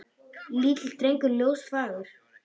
Lítill drengur ljós og fagur.